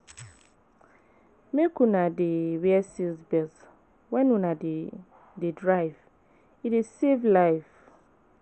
Make una dey wear seat belt wen una dey dey drive, e dey save life.